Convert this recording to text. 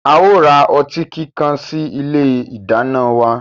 A ó ra otí kíkan sí ilé ìdáná wa.